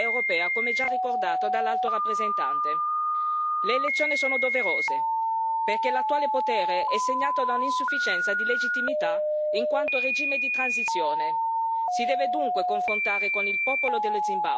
Le elezioni sono doverose, perché l'attuale potere è segnato da un'insufficienza di legittimità in quanto regime di transizione e si deve dunque confrontare con il popolo dello Zimbabwe in una partita elettorale che vorremmo concorrenziale.